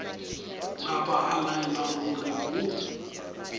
napa a laela gore go